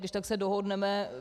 Když tak se dohodneme.